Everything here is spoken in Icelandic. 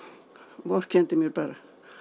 vorkenndi mér bara